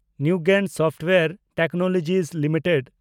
Newgen software technologies limited